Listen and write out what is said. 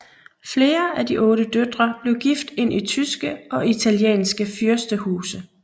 Flere af de otte døtre blev gift ind i tyske og italienske fyrstehuse